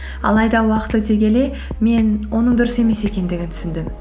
алайда уақыт өте келе мен оның дұрыс емес екендігін түсіндім